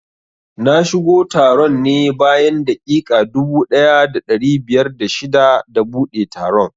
Na shigo taron ne bayan daƙiƙa dubu ɗaya da ɗari biyar da shida da buɗe taron